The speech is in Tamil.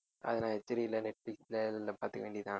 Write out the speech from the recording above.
அது தான் HD ல நெட்ஃபிளிக்ஸ்ல இருந்தா பாத்துக்க வேண்டியதுதான்